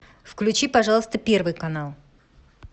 включи пожалуйста первый канал